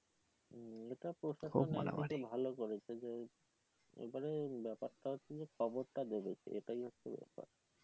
খুব ভালো করেছে যে এখানে ব্যাপারটা হচ্ছে যে খবরটা দেবে কে এটাই হচ্ছে ব্যাপার।